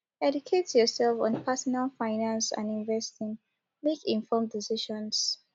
educate yourself on pesinal finance and investing make informed decisions